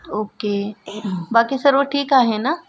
Okay बाकी सर्व ठीक आहे ना ?